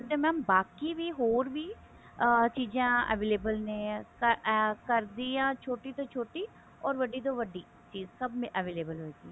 ਤੇ mam ਬਾਕੀ ਵੀ ਹੋਰ ਵੀ ਅਹ ਚੀਜ਼ਾਂ available ਨੇ ਅਹ ਕਰਦੀ ਆ ਛੋਟੀ ਤੋਂ ਛੋਟੀ or ਵੱਡੀ ਤੋਂ ਵੱਡੀ ਚੀਜ਼ ਸਭ available ਹੋਇਗੀ